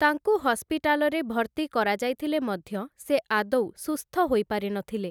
ତାଙ୍କୁ ହସପିଟାଲରେ ଭର୍ତ୍ତି କରାଯାଇଥିଲେ ମଧ୍ୟ ସେ ଆଦୌ ସୁସ୍ଥ ହୋଇପାରିନଥିଲେ ।